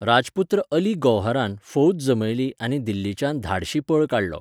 राजपुत्र अली गौहरान फौज जमयली आनी दिल्लीच्यान धाडशी पळ काडलो.